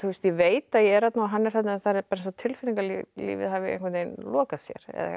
ég veit að ég er þarna og hann er þarna en það er eins og tilfinningalífið hafi lokað sér